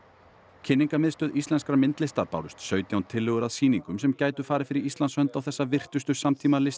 kynningarmiðstöð íslenskrar myndlistar bárust sautján tillögur að sýningum sem gætu farið fyrir Íslands hönd á þessa virtustu